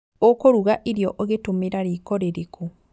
ũkũruga irio ũgitũmira riko rĩrĩkũ